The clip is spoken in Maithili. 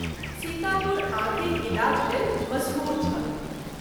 सीतापुर आँखिक इलाज लेल मसहूर छल।